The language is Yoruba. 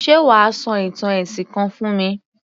Ṣé wà á sọ ìtàn ẹ̀sìn kan fún mi?